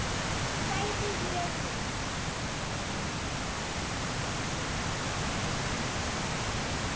sagði ég við